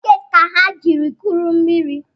Bokeeti ka ha jiri kụrụ mmiri